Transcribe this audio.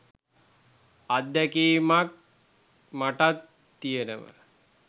අත්දැකීමක් මටත් තියනව.